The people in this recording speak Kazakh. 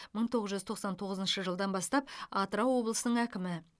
мың тоғыз жүз тоқсан толғызыншы жылдан бастап атырау облысының әкімі